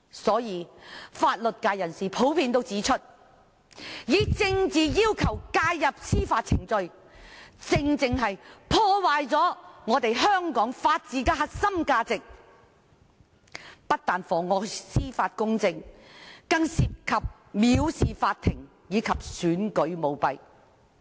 就此，法律界人士普遍指出，以政治要求介入司法程序，正正破壞了香港法治的核心價值，不但妨礙司法公正，更涉及藐視法庭和選舉舞弊。